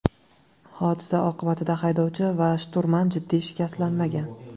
Hodisa oqibatida haydovchi va shturman jiddiy shikastlanmagan.